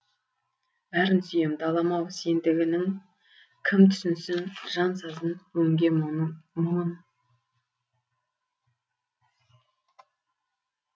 бәрін сүйем далам ау сендгінің кім түсінсін жан сазын өңге мұңын